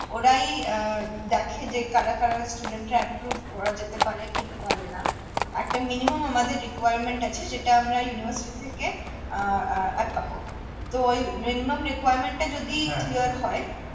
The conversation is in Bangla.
ওরাই আহ দেখে যে কারা কারা student রা approve করা যেতে পারে কি পারেনা একটা minimum আমাদের requirement আছে সেটা আমরা university থেকে আহ আহ আটকাবো তো ঔ minimum requirement এ যদি হয়